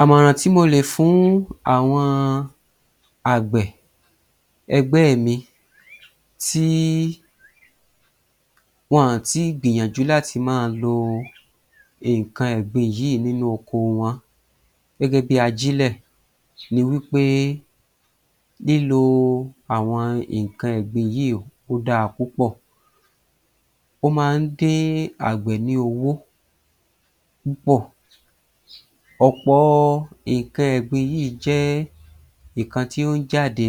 Àmọ̀ràn tí molè fún àwọn àgbẹ̀ ẹgbẹ́ mi tí wọ̀n tí gbìyànjú láti máa lo nǹkan ẹ̀gbin yìí nínú oko wọn gẹ́gẹ́bí ajílẹ̀ ni wí pé lílo àwọn nǹkan ẹ̀gbin yìí ó dáa púpọ̀. Ó máa ń dín àgbẹ̀ ní owó púpọ̀. Ọ̀pọ̀ nǹkan ẹ̀gbin yìí jẹ́ ìkan tí ó ń jáde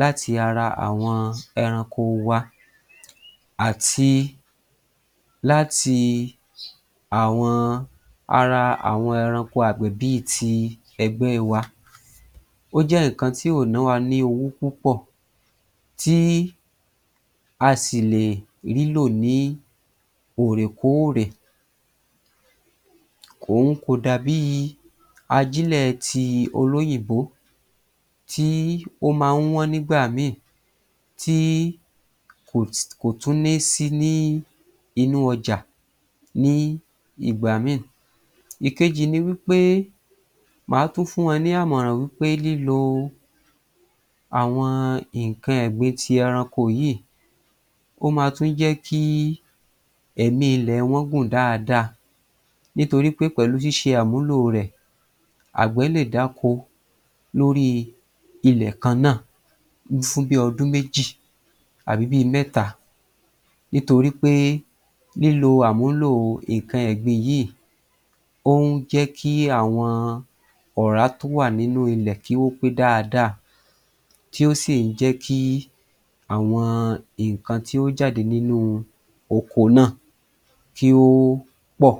láti ara àwọn ẹranko wa àti láti àwọn ara àwọn ẹranko àgbẹ̀ bí i ti ẹgbẹ́ wa. Ó jé nǹkan tí ò nọ́ wa ní owó púpọ̀ tí a sì lè rí lò ní òrèkóòrè. Kòhun kò dà bíi ajílẹ̀ ti olóyìnbó tí ó máa ń wọ́n nígbà mí tí kò tún ní sí ní inú ọjà ní ìgbà mí. Ìkejì ni wí pé máa tún fún ẹ ní àmọ̀ràn wí pé lílo àwọn nǹkan ẹ̀gbin ti ẹranko yìí ó ma tún jẹ́ kí ẹ̀mi ilẹ̀ wọn gùn dáadáa nítorí pé pẹ̀lú ṣíṣe àmúlò rẹ̀ àgbẹ̀ lè dáko lórí i ilẹ̀ kan náà fún bi ọdún méjì àbí bí i mẹ́ta nítorí pé lílo àmúlò nǹkan ẹ̀gbin yìí, ó ń jẹ́kí àwọn ọ̀rá tó wà nínú ilẹ̀ kí ó pé dáadáa tí ó sì ń jẹ́ kí àwọn nǹkan tí ó jáde nínú oko náà kí ó pọ̀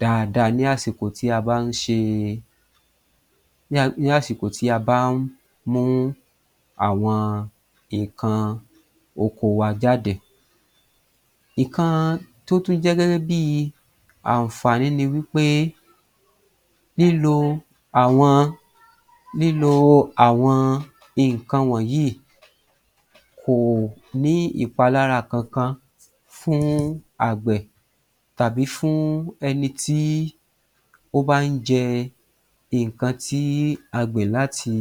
dáadáa ní àsìkò tí a bá ń ṣe ni àsìkò tí a bá ń mú àwọn nǹkan oko wa jáde. Nǹkan tó tún jẹ́ gẹ́gẹ́ bí àǹfààní ni wí pé lílo àwọn lílo àwọn nǹkan wọnyìí kò ní ìpalára kankan fún àgbẹ̀ tàbí fún ẹni tí ó bá ń jẹ nǹkan tí a gbìn láti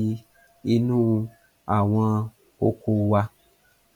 inú àwọn oko wa.